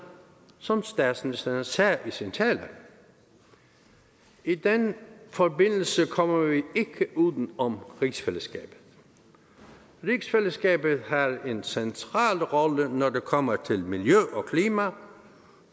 som statsministeren sagde i sin tale i den forbindelse kommer vi ikke uden om rigsfællesskabet rigsfællesskabet har en central rolle når det kommer til miljø og klima